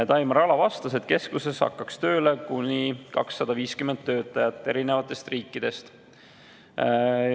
Taimar Ala vastas, et keskuses hakkaks tööle kuni 250 töötajat eri riikidest.